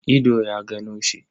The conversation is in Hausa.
Ido ya gano shi.